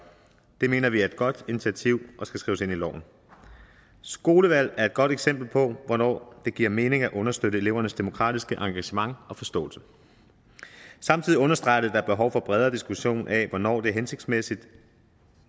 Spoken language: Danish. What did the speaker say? det mener vi er et godt initiativ og skal skrives ind i loven skolevalg er et godt eksempel på hvornår det giver mening at understøtte elevernes demokratiske engagement og forståelse samtidig understreger det at er behov for en bredere diskussion af hvornår det er hensigtsmæssigt